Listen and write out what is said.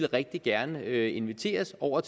rigtig gerne ville inviteres over